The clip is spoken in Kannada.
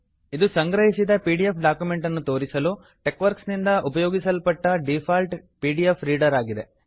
ಇದು ಸಂಗ್ರಹಿಸಿದ ಪಿ ಡಿ ಎಫ್ ಡಾಕ್ಯುಮೆಂಟ್ ಅನ್ನು ತೋರಿಸಲು ಟೆಕ್ವರ್ಕ್ಸ್ ನಿಂದ ಉಪಯೋಗಿಸಲ್ಪಟ್ಟ default P D F reader ಆಗಿದೆ